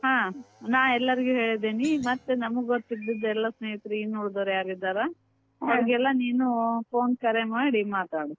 ನಾ ಎಲ್ಲಾರಿಗೂ ಹೇಳಿದೀನಿ, ಮತ್ ನಮಗ್ ಗೊತ್ತಿದ್ದದೆಲ್ಲ ಸ್ನೇಹಿತರ್ ಇನ್ನ್ ಉಳದೋರ್ ಯಾರ್ ಇದ್ದಾರಾ ನೀನೂ phone ಕರೆ ಮಾಡಿ ಮಾತಾಡು.